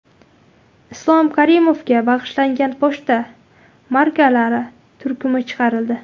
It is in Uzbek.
Islom Karimovga bag‘ishlangan pochta markalari turkumi chiqarildi.